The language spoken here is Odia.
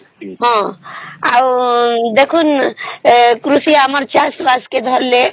ହଁ ହଁ ଠିକ ଅଛି